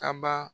Kaba